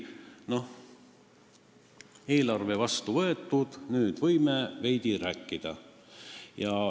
Noh, eelarve on vastu võetud, nüüd võib veidi rääkida.